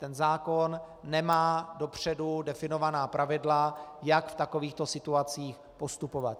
Ten zákon nemá dopředu definovaná pravidla, jak v takovýchto situacích postupovat.